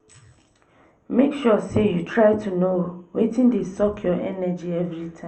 mek sure say you try no wetin dey suck yur energy evritime